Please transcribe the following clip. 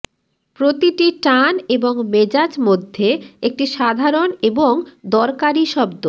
প্রতিটি টান এবং মেজাজ মধ্যে একটি সাধারণ এবং দরকারী শব্দ